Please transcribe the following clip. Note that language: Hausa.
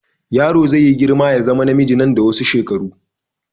Yaro zai yi girma ya zama namiji nan da wasu shekaru.